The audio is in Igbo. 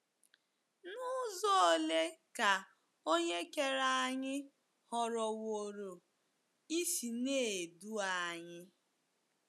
N'uzo olee ka Onye Kere anyị họrọwooro isi na - edu anyị?